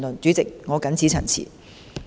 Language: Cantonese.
主席，我謹此陳辭。